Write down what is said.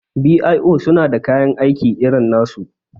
b.i.o suna da kayan aiki irin nasu